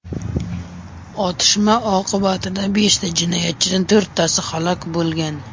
Otishma oqibatida besh jinoyatchidan to‘rttasi halok bo‘lgan.